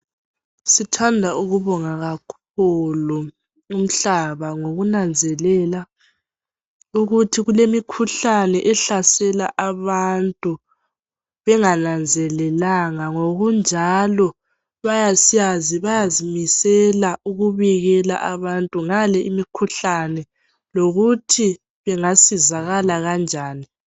Sithanda ukubonga kakhulu umhlaba ngokunanzelela ukuthi kulemikhuhlane ehlasela abantu bengananzelelanga ngokunjalo bayazimisela ukubikela abantu ngale imikhuhlane lokuthi bangasizakala kanjani